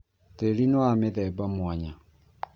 Tĩri nĩ wa mĩthemba mwanya